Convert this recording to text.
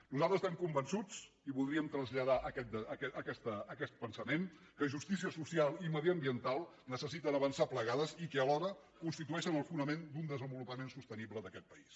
nosaltres estem convençuts i voldríem traslladar aquest pensament que justícia social i mediambiental necessiten avançar plegades i que alhora constitueixen el fonament d’un desenvolupament sostenible d’aquest país